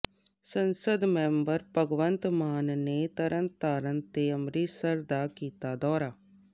ਸੰਸਦ ਮੈਂਬਰ ਭਗਵੰਤ ਮਾਨ ਨੇ ਤਰਨਤਾਰਨ ਤੇ ਅੰਮ੍ਰਿਤਸਰ ਦਾ ਕੀਤਾ ਦੌਰਾ